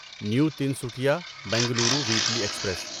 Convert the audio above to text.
new Tinsukia Bengaluru weekly express